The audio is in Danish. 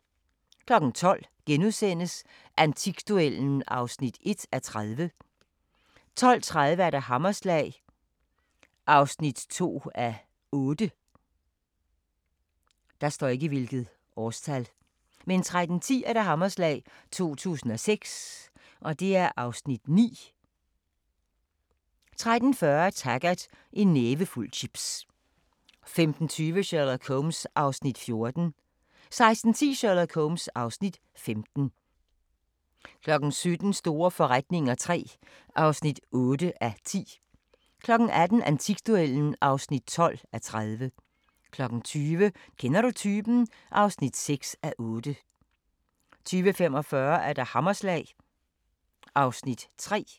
12:00: Antikduellen (1:30)* 12:30: Hammerslag (2:8) 13:10: Hammerslag 2006 (Afs. 9) 13:40: Taggart: En nævefuld chips 15:20: Sherlock Holmes (Afs. 14) 16:10: Sherlock Holmes (Afs. 15) 17:00: Store forretninger III (8:10) 18:00: Antikduellen (12:30) 20:00: Kender du typen? (6:8) 20:45: Hammerslag (Afs. 3)